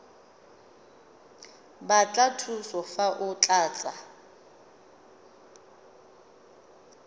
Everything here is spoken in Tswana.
batla thuso fa o tlatsa